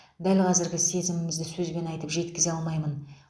дәл қазіргі сезімімді сөзбен айтып жеткізе алмаймын